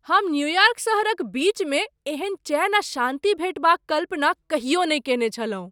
हम न्यूयार्क सहरक बीचमे एहन चैन आ शान्ति भेटबा क कल्पना कहियो नहि कयने छलहुँ!